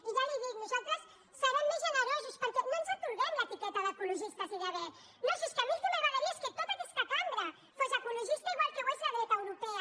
i ja li dic nosaltres serem més generosos perquè no ens atorguem l’etiqueta d’ecologistes i de verds no si és que a mi el que m’agradaria és que tota aquesta cambra fos ecologista igual que ho és la dreta europea